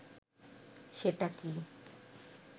সেটা কি